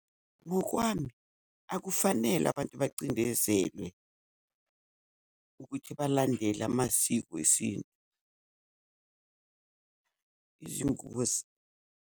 Ngokwami akufanele abantu bacindezelwe ukuthi balandele amasiko esintu .